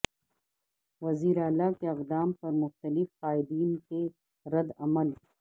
وزیر اعلی کے اقدام پر مختلف قائدین کے رد عمل